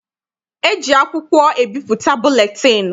E ji akwụkwọ ebipụta buletịịnụ.